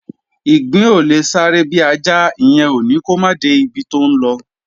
Ìgbín ò lè sáré bí Ajá; ìyẹn ò ní kó máà de ibi tó ńlọ.